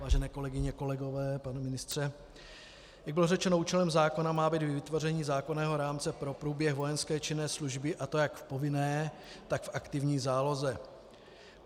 Vážené kolegyně, kolegové, pane ministře, jak bylo řečeno, účelem zákona má být i vytvoření zákonného rámce pro průběh vojenské činné služby, a to jak povinné, tak v aktivní záloze.